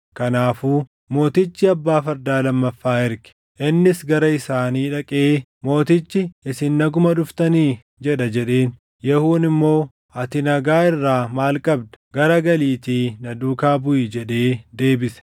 Kanaafuu mootichi abbaa fardaa lammaffaa erge. Innis gara isaanii dhaqee, “Mootichi, ‘Isin naguma dhuftanii?’ jedha” jedheen. Yehuun immoo, “Ati nagaa irraa maal qabda? Garagaliitii na duukaa buʼi” jedhee deebise.